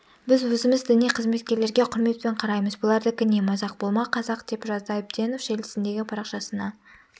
біз өзіміз діни қызметкерлерге құрметпен қараймыз бұлардікі не мазақ болма қазақ деп жазды әбенов желісіндегі парақшасына